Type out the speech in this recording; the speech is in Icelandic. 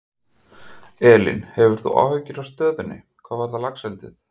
Elín: Hefur þú áhyggjur af stöðunni, hvað varðar laxeldið?